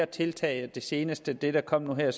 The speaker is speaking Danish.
tiltag og det seneste det der kom nu her er